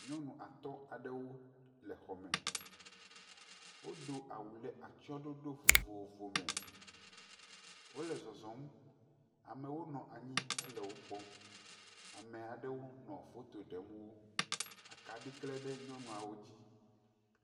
Nyɔnu atɔ̃ aɖewo le xɔ me. Wodo awu le atsɛ̃ɔɖoɖo vovovome. Wole zɔzɔm. Amewo nɔ anyi hele wokpɔm. Ame aɖewo nɔ foto ɖem wo. Akaɖi klẽ ɖe nyɔnuawo dzi.